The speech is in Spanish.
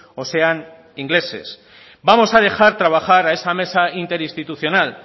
o sean ingleses vamos a dejar trabajar a esa mesa interinstitucional